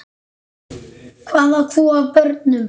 Hvað átt þú af börnum?